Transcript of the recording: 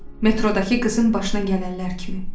Metrodakı qızın başına gələnlər kimi.